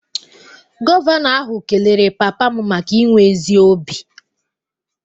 Gọvanọ ahụ kelere papa m maka inwe ezi obi